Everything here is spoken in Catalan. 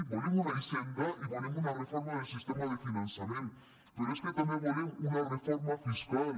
volem una hisenda i volem una reforma del sistema de finançament però és que també volem una reforma fiscal